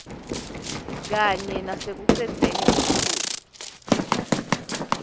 kanye nasekucedzeni buphuya